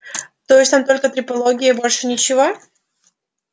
то есть там только трепология и больше ничего